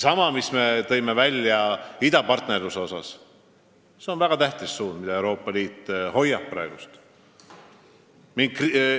Ja ka töö idapartnerluse vallas on väga tähtis suund, mida Euroopa Liit praegu hoiab.